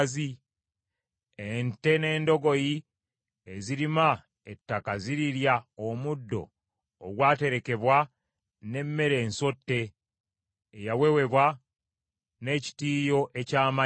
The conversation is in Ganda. Ente n’endogoyi ezirima ettaka zirirya omuddo ogwaterekebwa n’emmere ensotte, eyawewebwa n’ekitiiyo eky’amannyo.